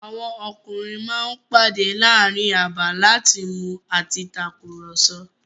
Àwọn ọkùnrin ma ń pàdé láàrin abà láti mu àti takùrọ̀sọ̀.